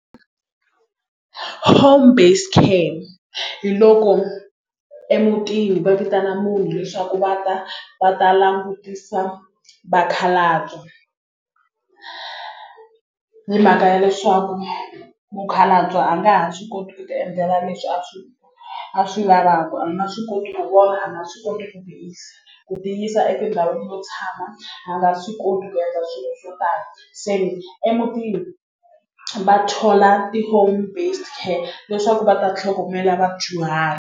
Home based care hi loko emutini va vitana munhu leswaku va ta va ta langutisa vakhalabya hi mhaka ya leswaku mukhalabye a nga ha swi koti ku tiendlela leswi a swi a swi lavaka a nga swi koti ku vona a nga swi koti ku tiyisa ku tiyisa etindhawini to tshama a nga swi koti ku endla swilo swo tala se emutini va thola ti-home based care leswaku va ta tlhogomela vadyuhari.